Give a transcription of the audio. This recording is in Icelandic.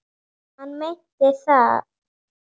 Já, hann meinti það.